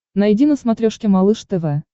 найди на смотрешке малыш тв